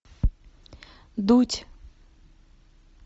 дудь